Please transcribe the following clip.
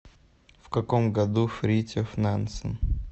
в каком году фритьоф нансен